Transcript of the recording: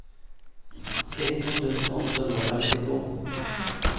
sytten tusen åtte hundre og femtito